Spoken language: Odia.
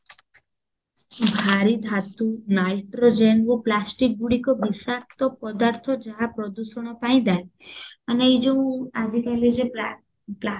ଭାରୀ ଧାତୁ nitrogenରୁ plasticଗୁଡିକ ବିଷାକ୍ତ ପଦାର୍ଥ ଯାହା ପ୍ରଦୂଷଣ ପାଇଁ ଦାୟୀ ମାନେ ଏଇ ଯୋଉ ଆଜି କାଲୀ ଯୋଉ ପ୍ଳା ପ୍ଲା